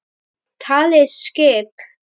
Talið skip?